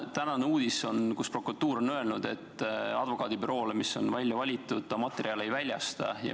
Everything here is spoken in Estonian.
Tänane uudis on, et prokuratuur on öelnud, et ta advokaadibüroole, mis on välja valitud, materjale ei väljasta.